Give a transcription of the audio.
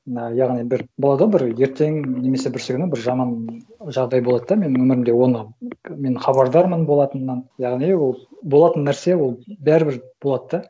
мына яғни бір болады ғой бір ертең немесе бүрсігүні бір жаман жағдай болады да менің өмірімде оны мен хабардармын болатынынан яғни ол болатын нәрсе ол бәрібір болады да